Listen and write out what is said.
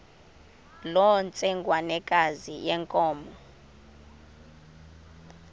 loo ntsengwanekazi yenkomo